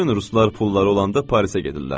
Bütün ruslar pulları olanda Parisə gedirlər.